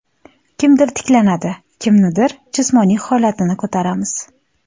Kimdir tiklanadi, kimnidir jismoniy holatini ko‘taramiz.